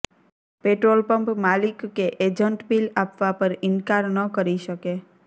petrol pump માલિક કે agent bill આપવા પર ઈનકાર ન કરી શકે